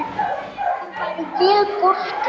Henni væri vel borgið.